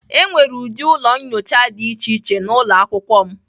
Enwere ụdị ụlọ nyocha dị iche iche n'ụlọ akwụkwọ m.